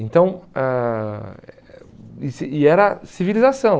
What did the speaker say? Então ãh eh E era civilização.